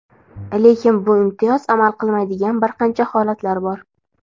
Lekin bu imtiyoz amal qilmaydigan bir qancha holatlar bor.